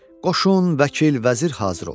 Qoşun, vəkil, vəzir hazır oldu.